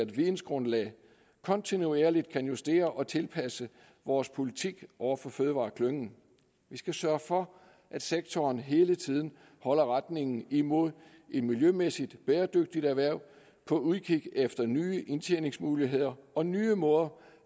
vidensgrundlag kontinuerligt kan justere og tilpasse vores politik over for fødevareklyngen vi skal sørge for at sektoren hele tiden holder retningen imod et miljømæssigt bæredygtigt erhverv på udkig efter nye indtjeningsmuligheder og nye måder